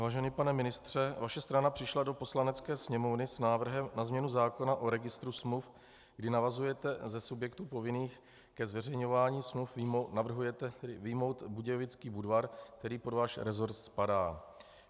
Vážený pane ministře, vaše strana přišla do Poslanecké sněmovny s návrhem na změnu zákona o registru smluv, kdy navrhujete ze subjektů povinných ke zveřejňování smluv vyjmout Budějovický Budvar, který pod váš resort spadá.